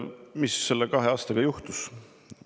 Mis selle kahe aastaga on juhtunud?